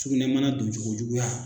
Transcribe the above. Sukunɛ bana don cogo juguya.